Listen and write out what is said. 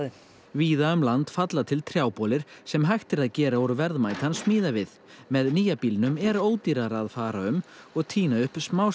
víða um land falla til sem hægt er að gera úr verðmætan smíðavið með nýja bílnum er ódýrara að fara um og tína upp